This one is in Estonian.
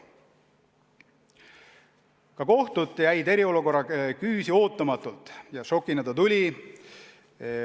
Ka kohtud jäid eriolukorra küüsi ootamatult ja šokina see tuli.